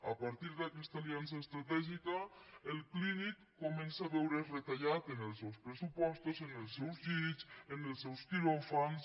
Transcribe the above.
a partir d’aquesta aliança estratègica el clínic comença a veure’s retallat en els seus pressupostos en els seus llits en els seus quiròfans